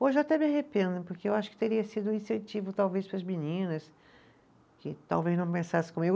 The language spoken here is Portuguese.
Hoje até me arrependo, porque eu acho que teria sido um incentivo talvez para as meninas que talvez não comigo.